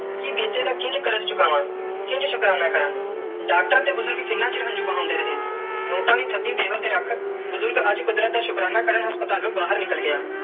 ਕਿ ਬੀਤੇ ਦਾ ਕਿੰਜ ਕਾਰਜ ਚੁਕਾਵੈ ਕਿੰਜ ਸ਼ੁਕਰਾਨਾ ਕਾਰਾ ਡਾਕਟਰ ਤੇ ਬੁਜ਼ਰਗ ਕਿੰਨਾ ਚਿਰ ਹੰਜੂ ਬਹੰਦੇ ਰੇ ਨੋਟ ਦੀ ਤੁਹਾਡੀ ਦਿਲ ਤੇ ਰੱਖ ਬੁਜ਼ਰਗ ਅਜੇ ਕੁਦਰਤ ਦਾ ਸ਼ੁਕਰਾਨਾ ਕਾਰਨ ਹਾਸਪ੍ਤਾਲੂ ਬਾਰ ਨਿਕਲ ਗਿਆ.